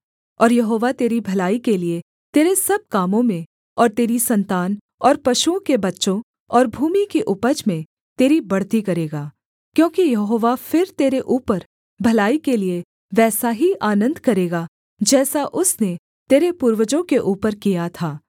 और यहोवा तेरी भलाई के लिये तेरे सब कामों में और तेरी सन्तान और पशुओं के बच्चों और भूमि की उपज में तेरी बढ़ती करेगा क्योंकि यहोवा फिर तेरे ऊपर भलाई के लिये वैसा ही आनन्द करेगा जैसा उसने तेरे पूर्वजों के ऊपर किया था